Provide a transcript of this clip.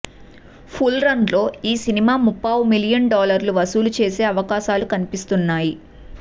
full రన్లో ఈ సినిమా ముప్పావు మిలియన్ డాలర్లు వసూలు చేసే అవకాశాలు కనిపిస్తున్నాయి